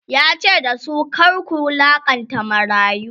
yace da su"kar ku wulaƙanta marayu!"